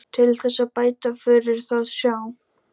Til þess að bæta fyrir það sjá